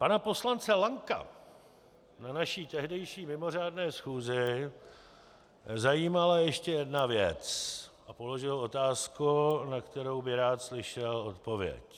Pana poslance Lanka na naší tehdejší mimořádné schůzi zajímala ještě jedna věc a položil otázku, na kterou by rád slyšel odpověď.